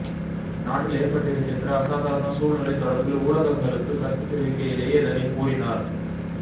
நாட்டில் ஏற்பட்டிருக்கின்ற அசாதாரண சூழ்நிலை தொடர்பில் ஊடகங்களுக்கு கருத்து தெரிவிக்கையிலேயே இதனைக் கூறினார்